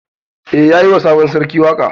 Eh yayi wa sabon sarki waƙa.